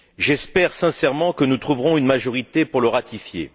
J'espère, sincèrement, que nous trouverons une majorité pour le ratifier.